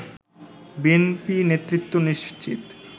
BNP নেতৃত্ব নিশ্চিত